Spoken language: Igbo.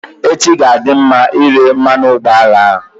Echi ga-adị mma ire mmanụ ụgbọala ahụ.